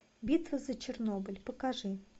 битва за чернобыль покажи